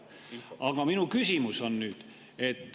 Aga minu küsimus on see.